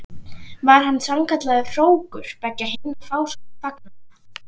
Var hann sannkallaður hrókur beggja hinna fásóttu fagnaða.